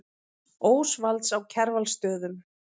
Ósvalds á Kjarvalsstöðum.